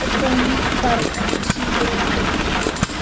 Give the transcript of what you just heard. Þetta er þó mitt barn, ekki síður en þitt.